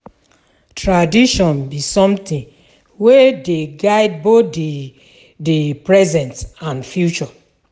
Tradition bi somtin wey dey guide both di di present and future.